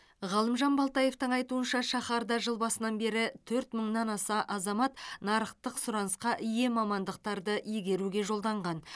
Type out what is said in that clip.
ғалымжан балтаевтың айтуынша шаһарда жыл басынан бері төрт мыңнан аса азамат нарықтық сұранысқа ие мамандықтарды игеруге жолданған